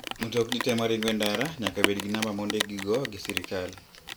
Mtokni te maringo en ndata nyaka bed gi namba ma ondikgi go gi sirkal.